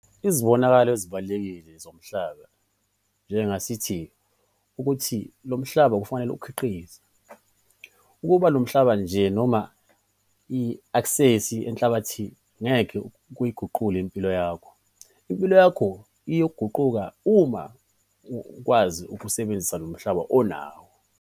Izibonakalo ezibalulekile zomhlaba njenge-asethi ukuthi lo mhlaba kufanele ukhiqize. Ukuba nomhlaba nje noma i-aksesi enhlabathini ngeke kuyiguqule impilo yakho - impilo yakho ingaguquka uma ukwazi ukuwusebenzisa lo mhlaba onawo.